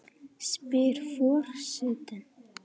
spyr for- setinn.